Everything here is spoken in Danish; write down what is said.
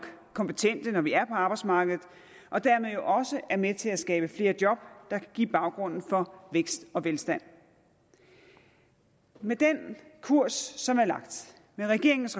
kompetente når vi er på arbejdsmarkedet og dermed også er med til at skabe flere job der kan give baggrunden for vækst og velstand med den kurs som er lagt med regeringens